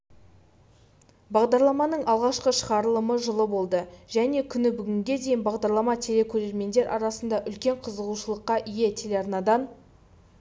бағдарламаның алғашқы шығарылымы жылы болды және күні бүгінге дейін бағдарлама телекөрермендер арасында үлкен қызығушылыққа ие телеарнадан